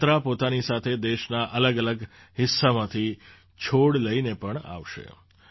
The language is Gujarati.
આ યાત્રા પોતાની સાથે દેશના અલગઅલગ હિસ્સામાંથી છોડ લઈને પણ આવશે